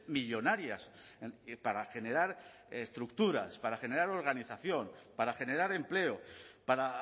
millónarias para generar estructuras para generar organización para generar empleo para